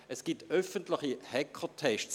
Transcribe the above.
Es gibt öffentliche Hackertests.